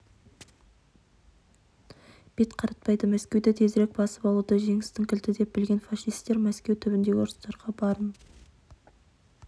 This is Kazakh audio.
бет қаратпайды мәскеуді тезірек басып алуды жеңістің кілті деп білген фашистер мәскеу түбіндегі ұрыстарға барын